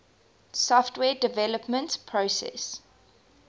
software development process